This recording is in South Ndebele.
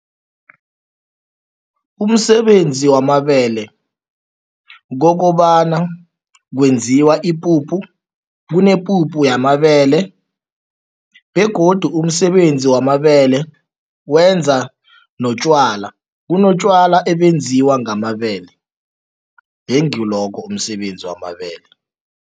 Umsebenzi wamabele, kokobana kwenziwa ipuphu. Kunepuphu yamabele begodu umsebenzi wamabele wenza notjwala, kunotjwala obenziwa ngamabele. Ngengilokho umsebenzi wamabele.